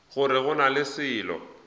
gore go na le selo